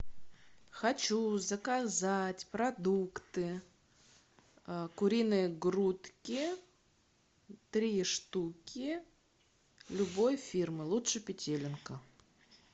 хочу заказать продукты куриные грудки три штуки любой фирмы лучше петелинка